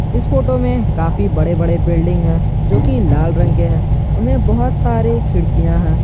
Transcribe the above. इस फोटो में काफी बड़े बड़े बिल्डिंग है जो कि लाल रंग के हैं उनमें बहोत सारे खिड़कियां है।